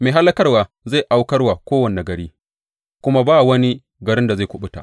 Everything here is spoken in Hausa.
Mai hallakarwa zai aukar wa kowane gari, kuma ba wani garin da zai kuɓuta.